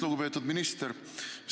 Lugupeetud minister!